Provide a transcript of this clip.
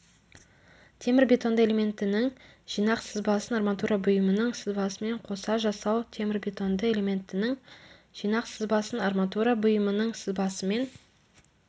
темірбетонды элементінің жинақ сызбасын арматура бұйымының сызбасымен қоса жасау темірбетонды элементінің жинақ сызбасын арматура бұйымының сызбасымен